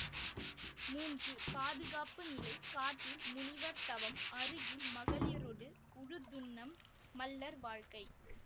மூன்று பாதுகாப்புநிலை காட்டில் முனிவர் தவம் அருகில் மகளிரொடு உழுதுண்ணம் மள்ளர் வாழ்க்கை